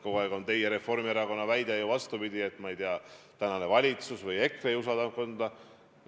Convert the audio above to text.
Kogu aeg on Reformierakonna väide ju, vastupidi, olnud, et praegune valitsus või EKRE ei usalda ametkondi.